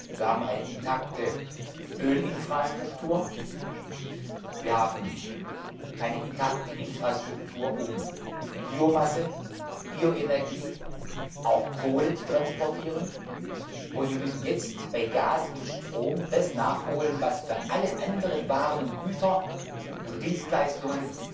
Wir haben eine intakte Ölinfrastruktur, eine intakte Infrastruktur, um Biomasse, Bioenergie und auch Kohle zu transportieren, und wir müssen jetzt bei Gas und Strom das nachholen, was für alle anderen Waren, Güter und Dienstleistungen